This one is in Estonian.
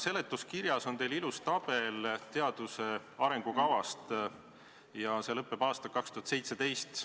Seletuskirjas on teil ilus tabel teaduse arengukavast ja see lõpeb aastaga 2017.